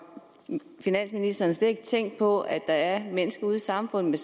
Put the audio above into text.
finansministeren slet ikke tænkt på at der er mennesker i samfundet